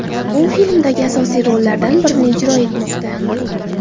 U filmdagi asosiy rollardan birini ijro etmoqda.